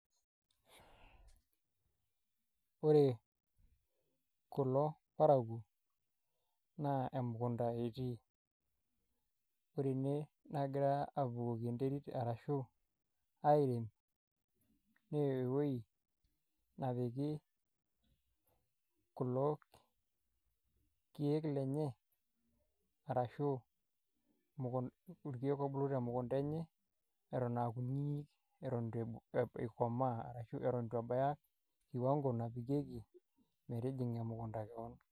Ore kulo parakuo, naa emukunda etii. Ore ene nagira abukoki enterit arashu airem, newoi napiki kulo keek lenye, arashu irkeek obulu temukunta enye, eton akunyinyi eton itu ikomaa, eton itu ebaya kiwango naje, metijing'a emukunda naa.